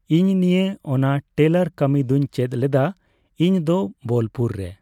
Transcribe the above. ᱤᱧ ᱱᱤᱭᱮ, ᱚᱱᱟ ᱴᱮᱞᱟᱨ ᱠᱟᱹᱢᱤ ᱫᱩᱧ ᱪᱮᱫ ᱞᱮᱫᱟ ᱤᱧᱫᱚ ᱵᱳᱞᱯᱩᱨ ᱨᱮ᱾